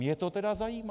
Mě to tedy zajímá.